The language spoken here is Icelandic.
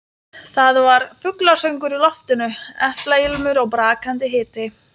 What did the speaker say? Það var fuglasöngur í loftinu, eplailmur og brakandi hiti.